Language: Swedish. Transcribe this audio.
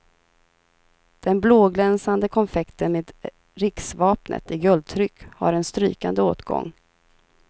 Den blåglänsande konfekten med riksvapnet i guldtryck har en strykande åtgång.